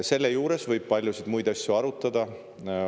Selle juures võib paljusid muid asju arutada.